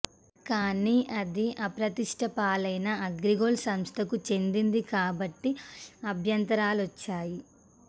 కాని అది అప్రతిష్ట పాలైన అగ్రిగోల్డ్ సంస్థకు చెందింది కాబట్టి అభ్యంతరాలొచ్చాయి